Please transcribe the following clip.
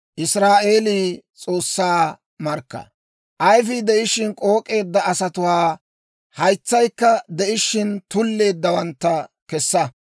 Ayifii de'ishshin k'ook'eedda asatuwaa, haytsaykka de'ishshin tulleeddawantta kessa;